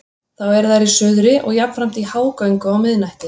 Þá eru þær í suðri og jafnframt í hágöngu á miðnætti.